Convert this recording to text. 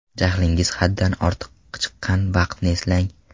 Jahlingiz haddan ortiq chiqqan vaqtni eslang.